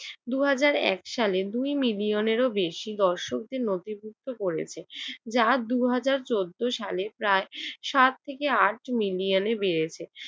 দুই হাজার এক সালে দুই মিলিয়ানেরও বেশি দর্শকদের নথিভুক্ত করেছে যা দুই হাজার চৌদ্দ সালে প্রায় সাত থেকে আট মিলিয়নে বেড়েছে